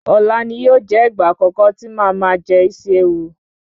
Ọ̀la ni yóò jẹ́ ìgbà àkọ́kọ́ tí màá máa jẹ Isi ewu.